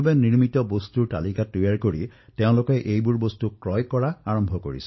ইমান প্ৰত্যাহ্বানৰ মাজতো মই সুখী যে আত্মনিৰ্ভৰ ভাৰতৰ ওপৰত আজি দেশত ব্যাপক মন্থন আৰম্ভ হৈছে